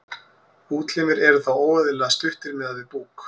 útlimir eru þá óeðlilega stuttir miðað við búk